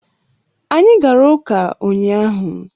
Anyị gara ụka ụnyaahụ